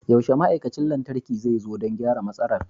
Yaushe ma'aikacin lantarki zai zo don gyara matsalar?